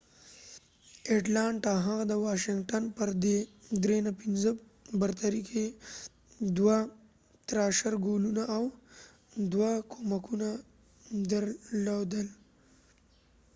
هغه د واشنګټن پر atlanta thrashers د 5-3 برتري کې دوه ګولونه او دوه کومکونه درلودل